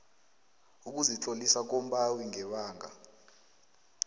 ukuzitlolisa kombawi ngebanga